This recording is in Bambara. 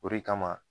O de kama